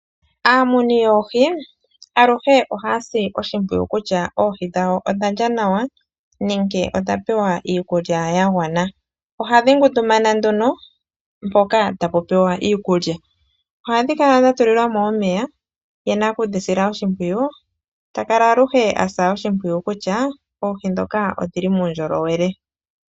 Aamuni yoohi aluhe ohaya si oshimpwiyu kutya oohi dhawo odha lya nawa nenge odha pewa iikulya ya gwana. Ohadhi ngundumana nduno mpoka ta pu pewa iikulya. Ohadhi kala dhatulilwa mo omeya ye nakudhisila oshimpwiyu ta kala aluhe a sa oshimpwiyu kutya oohi ndhoka odhili muundjolowele.